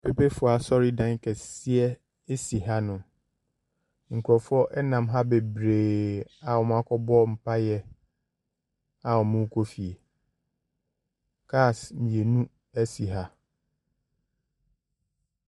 Mpepefoɔ asɔredan kɛseɛ si hanom. Nkurɔfoɔ nam ha bebreeee a wɔakɔbɔ mpaeɛ, a wɔrekɔ fie. Cars mmienu si ha.